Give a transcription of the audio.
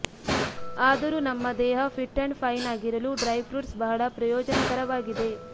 ಆದರೂ ನಮ್ಮ ದೇಹ ಫಿಟ್ ಅಂಡ್ ಫೈನ್ ಆಗಿರಲು ಡ್ರೈ ಫ್ರೂಟ್ಸ್ ಬಹಳ ಪ್ರಯೋಜನಕರವಾಗಿದೆ